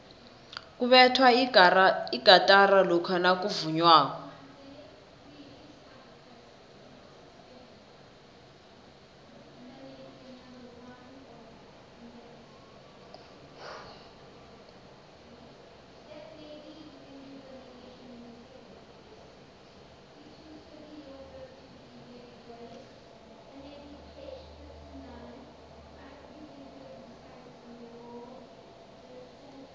kubethwa igatara lokha nakuvunywako